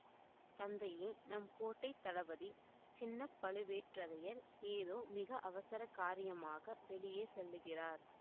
தந்தையே நம் கோட்டை தளபதி சின்ன பழுவேட்டரையர் ஏதோ மிக அவசர காரியமாக வெளியே செல்லுகிறார்